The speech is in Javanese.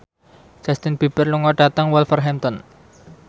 Justin Beiber lunga dhateng Wolverhampton